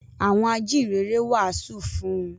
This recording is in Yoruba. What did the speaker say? Àwọn “ Ajíhìnrere” wàásù fún un.